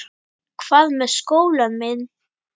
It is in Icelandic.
Hvað með skólann minn?